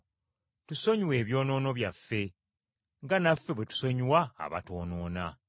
Tusonyiwe ebyonoono byaffe nga naffe bwe tusonyiwa abatwonoona.